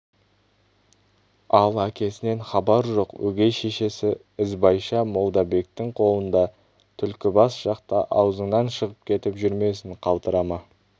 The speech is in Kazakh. ал әкесінен хабар жоқ өгей шешесі ізбайша молдабектің қолында түлкібас жақта аузыңнан шығып кетіп жүрмесін қалтырама